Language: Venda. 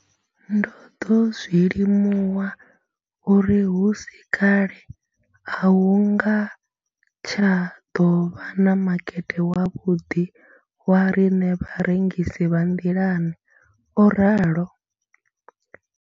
Ndo ḓo zwi limuwa uri hu si kale a hu nga tsha ḓo vha na makete wavhuḓi wa riṋe vharengisi vha nḓilani, o ralo.